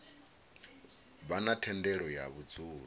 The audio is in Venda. vha na thendelo ya vhudzulo